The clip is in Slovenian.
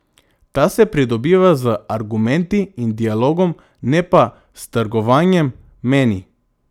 Ta se pridobiva z argumenti in dialogom, ne pa s trgovanjem, meni.